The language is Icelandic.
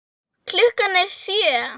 Klukkan er sjö!